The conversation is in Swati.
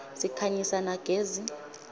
sikhanyisa na gezi